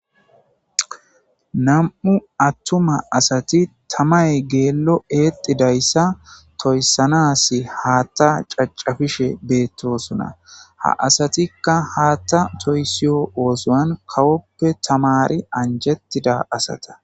nam7u attuma asati tamay geello eexidayssa toyssanas haatta cacafishe beettosona ha asatikka haatta toysiyo oosoan kawoppe tamari anjettida asata